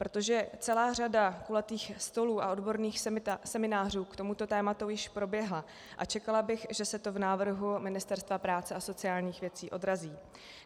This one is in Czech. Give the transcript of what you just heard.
Protože celá řada kulatých stolů a odborných seminářů k tomuto tématu již proběhla a čekala bych, že se to v návrhu Ministerstva práce a sociálních věcí odrazí.